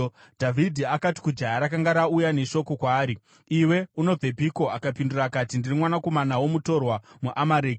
Dhavhidhi akati kujaya rakanga rauya neshoko kwaari, “Iwe unobvepiko?” Akapindura akati, “Ndiri mwanakomana womutorwa, muAmareki.”